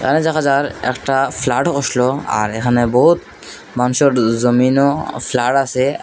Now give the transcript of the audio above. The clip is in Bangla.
একটা ফ্লাড আসল আর এখানে বহুত মানুষের জমিনও ফ্লাড আসে--